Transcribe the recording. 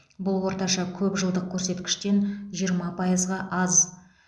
бұл орташа көп жылдық көрсеткіштен жиырма пайызға аз